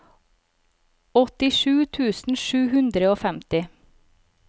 åttisju tusen sju hundre og femti